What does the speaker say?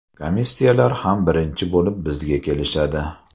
Komissiyalar ham birinchi bo‘lib bizga kelishadi.